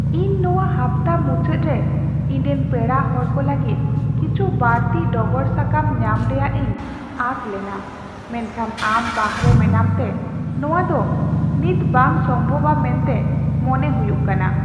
ᱤᱧ ᱱᱚᱶᱟ ᱦᱟᱯᱛᱟ ᱢᱩᱪᱟᱹᱫ ᱨᱮ ᱤᱧᱨᱮᱱ ᱯᱮᱲᱟ ᱦᱚᱲ ᱠᱚ ᱞᱟᱹᱜᱤᱫ ᱠᱤᱪᱷᱩ ᱵᱟᱹᱲᱛᱤ ᱰᱚᱜᱚᱨ ᱥᱟᱠᱟᱢ ᱧᱟᱢ ᱨᱮᱭᱟᱜ ᱤᱧ ᱟᱸᱥ ᱞᱮᱱᱟ , ᱢᱮᱱᱠᱷᱟᱱ ᱟᱢ ᱵᱟᱦᱚᱨᱮ ᱢᱮᱱᱟᱢᱛᱮ ᱱᱚᱶᱟ ᱫᱚ ᱱᱤᱛ ᱵᱟᱝ ᱥᱚᱢᱵᱷᱚᱵᱟ ᱢᱮᱱᱛᱮ ᱢᱚᱱᱮ ᱦᱩᱭᱩᱜ ᱠᱟᱱᱟ ᱾